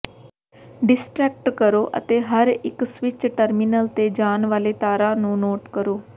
distract ਕਰੋ ਅਤੇ ਹਰ ਇੱਕ ਸਵਿੱਚ ਟਰਮੀਨਲ ਤੇ ਜਾਣ ਵਾਲੇ ਤਾਰਾਂ ਨੂੰ ਨੋਟ ਕਰੋ